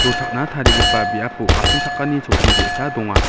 rochakna tarigipa biapo asongchakani chokki ge·sa donga.